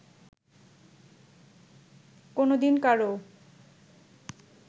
কোনো দিন কারও